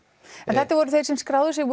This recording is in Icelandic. þetta voru þeir sem skráðu sig